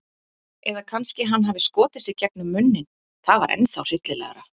Eða kannski hann hafi skotið sig gegnum munninn- það var ennþá hryllilegra.